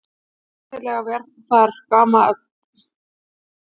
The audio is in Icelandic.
Sennilega var það gamla þörfin fyrir að standa mig sem bjargaði mér.